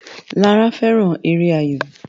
Lara fẹràn èrè ayọ.